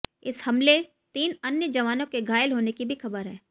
इस हमले तीन अन्य जवानों के घायल होने की भी खबर है